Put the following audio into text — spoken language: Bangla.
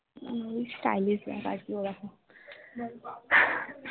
ওই stylish bag আর কি ওরকম